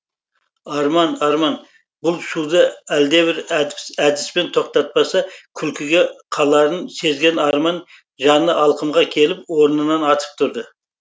арман арман бұл шуды әлдебір әдіспен тоқтатпаса күлкіге қаларын сезген арман жаны алқымға келіп орнынан атып тұрды